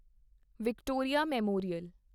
Victoria memorial